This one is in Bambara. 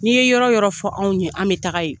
N'i ye yɔrɔ o yɔrɔ fɔ anw ye, an bi taga ye.